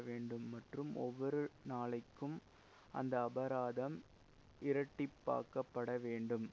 வேண்டும் மற்றும் ஒவ்வொரு நாளைக்கும் அந்த அபராதம் இரட்டிப்பாக்கப்படவேண்டும்